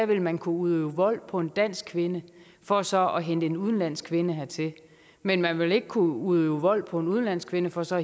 vil man kunne udøve vold på en dansk kvinde for så at hente en udenlandsk kvinde hertil men man vil ikke kunne udøve vold på en udenlandsk kvinde for så